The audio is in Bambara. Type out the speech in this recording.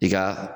I ka